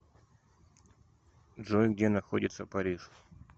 джой где находится париж